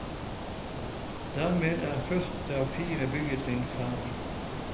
Dermed er første av fire byggetrinn ferdig.